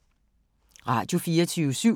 Radio24syv